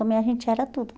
Também a gente era tudo